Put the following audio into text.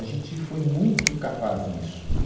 A gente foi muito capaz nisso. E